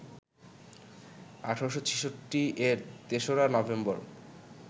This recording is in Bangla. ১৮৬৬-এর ৩রা নভেম্বর